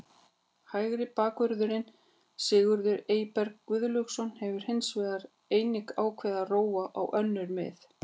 Hægri bakvörðurinn Sigurður Eyberg Guðlaugsson hefur hins vegar einnig ákveðið að róa á önnur mið.